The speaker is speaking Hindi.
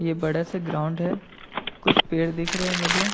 ये बड़ा सा ग्राउंड है कुछ पेड़ दिख रहे है मुझे।